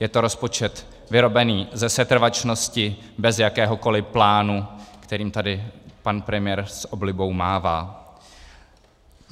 Je to rozpočet vyrobený ze setrvačnosti, bez jakéhokoliv plánu, kterým tady pan premiér s oblibou mává.